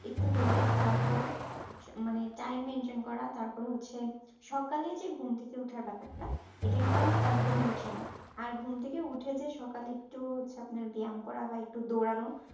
একটু healthy খাবার খাওয়া মানে Time maintain করা তারপরে হচ্ছে সকালে যে ঘুম থেকে ওঠার ব্যাপারটা এটা কিন্তু আমরা একদমই উঠি না। আর ঘুম থেকে উঠে যে সকালে একটু হচ্ছে আপনার ব্যায়াম করা একটু দৌড়ানো